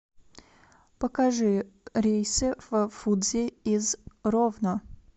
покажи рейсы в фудзи из ровно